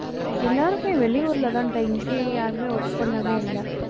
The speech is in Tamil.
எல்லாருமே வெளியூர்ல தான்டா, இங்கே யாருமே work பண்ணவே இல்லை.